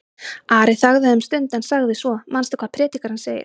Ari þagði um stund en sagði svo: Manstu hvað Predikarinn segir?